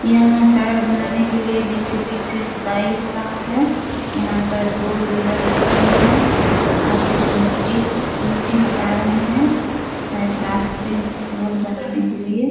यहाँ सड़क बनाने के लिए जे.सी.बी. से खुदाई हो रहा है। यहाँ पर दो लेबर दिख रहें हैं। आगे में मिट्टी से मिट्टी हटा रहें हैं शायद रास्ते रोड बनाने के लिए।